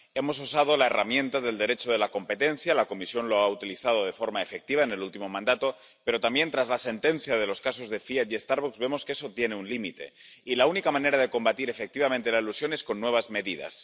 Hemos usado la herramienta del Derecho de la competencia —la Comisión lo ha utilizado de forma efectiva en el último mandato—, pero tras la sentencia de los casos de Fiat y Starbucks también hemos visto que eso tiene un límite. Y la única manera de combatir efectivamente la elusión es con nuevas medidas.